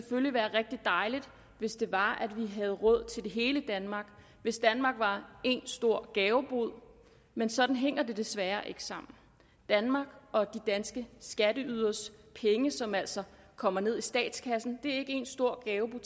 ville være rigtig dejligt hvis det var at vi havde råd til det hele i danmark hvis danmark var én stor gavebod men sådan hænger det desværre ikke sammen danmark og de danske skatteyderes penge som altså kommer ned i statskassen er ikke én stor gavebod